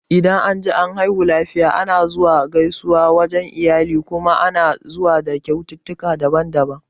Dan anji an haihu lafiya ana zuwa gaisuwa wajan iyali kuma ana zuwa da kyaututtukan daban-daban